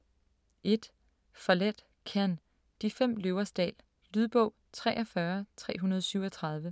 1. Follett, Ken: De fem løvers dal Lydbog 43337